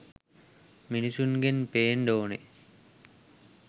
මිනිස්සුන්ගෙන් පෙන්ඩ ඕන.